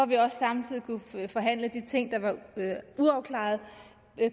vi også samtidig kunne forhandle de ting der var uafklarede